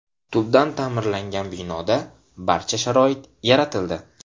Tubdan ta’mirlangan binoda barcha sharoit yaratildi.